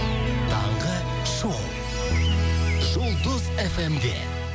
таңғы шоу жұлдыз эф эм де